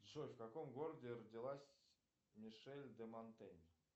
джой в каком городе родилась мишель де монтень